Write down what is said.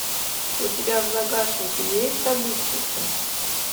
у тебя в загашнике есть добытчица